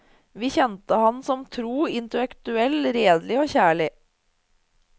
Vi kjente ham som tro, intellektuelt redelig og kjærlig.